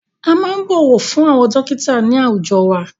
A máa ń bọ̀wọ̀ fún àwọn dọ́kítà ní àwùjọ wa.